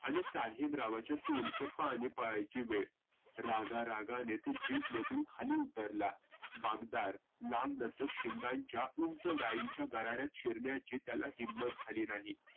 आणि साहेबरावांच्या तोडाचं पाणि पळायाची वेळ. रागा रागाने तो खाली उतरला. पागदार उंच गाईंच्या गरार्यात त्याला शिरण्याची त्याला हिम्मत झाली नाही.